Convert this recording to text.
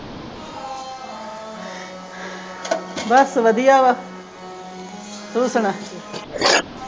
ਬਸ ਵਧੀਆ ਵਾ। ਤੂੰ ਸੁਣਾ।